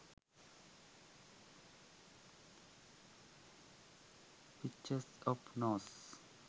pictures of nose